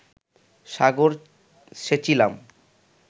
সাগর সেচিলাম